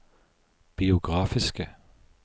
biografiske